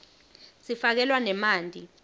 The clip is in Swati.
sifakelwa nemanti